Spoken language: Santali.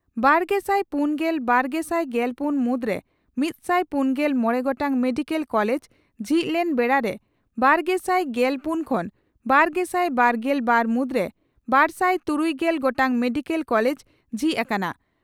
ᱵᱟᱨᱜᱮᱥᱟᱭ ᱯᱩᱱ ᱠᱷᱚᱱ ᱵᱟᱨᱜᱮᱥᱟᱭ ᱜᱮᱞ ᱯᱩᱱ ᱢᱩᱫᱽᱨᱮ ᱢᱤᱛᱥᱟᱭ ᱯᱩᱱᱜᱮᱞ ᱢᱚᱲᱮ ᱜᱚᱴᱟᱝ ᱢᱮᱰᱤᱠᱮᱞ ᱠᱚᱞᱮᱡᱽ ᱡᱷᱤᱡ ᱞᱮᱱ ᱵᱮᱲᱟ ᱨᱮ ᱵᱟᱨᱜᱮᱥᱟᱭ ᱜᱮᱞ ᱯᱩᱱ ᱠᱷᱚᱱ ᱵᱟᱨᱜᱮᱥᱟᱭ ᱵᱟᱨᱜᱮᱞ ᱵᱟᱨ ᱢᱩᱫᱽᱨᱮ ᱵᱟᱨᱥᱟᱭ ᱛᱩᱨᱩᱭᱜᱮᱞ ᱜᱚᱴᱟᱝ ᱢᱮᱰᱤᱠᱮᱞ ᱠᱚᱞᱮᱡᱽ ᱡᱷᱤᱡ ᱟᱠᱟᱱᱟ ᱾